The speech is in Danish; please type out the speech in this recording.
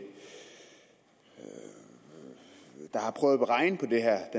der har prøvet at regne på det her